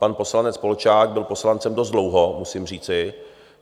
Pan poslanec Polčák byl poslancem dost dlouho, musím říci.